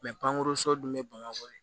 pankuruso dun be bamakɔ de